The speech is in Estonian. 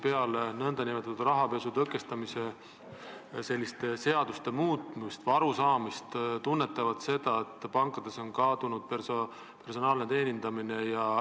Peale rahapesu tõkestamise seaduse muutmist tunnetavad nad seda, et pankades on kadunud personaalne teenindamine.